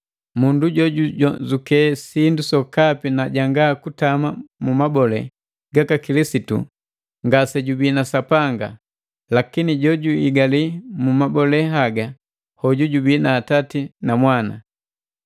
Mundu jojujonzuke sindu sokapi na janga kutama mu mabole gaka Kilisitu ngasejubii na Sapanga. Lakini jo juigali mu mabole haga hoju jubii na Atati na Mwana.